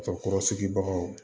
Musokɔrɔsigi baganw